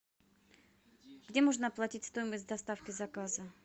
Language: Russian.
где можно оплатить стоимость доставки заказа